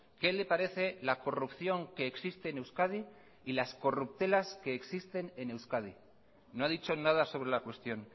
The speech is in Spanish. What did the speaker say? qué le parece la corrupción que existe en euskadi y las corruptelas que existen en euskadi no ha dicho nada sobre la cuestión